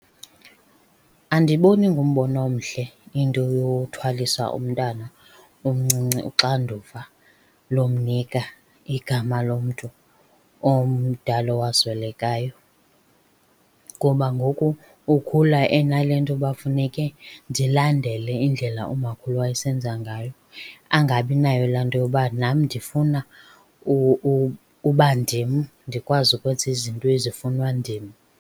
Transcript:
Andiboni ingumbono omhle into yothwalisa umntana omncinci uxanduva lomnika igama lomntu omdala owaswelekayo. Ngoba ngoku ukhula enale nto uba funeke ndilandele indlela umakhulu awayesenza ngayo. Angabinayo laa nto yoba nam ndifuna uba ndim, ndikwazi ukwenza izinto ezifunwa ndim.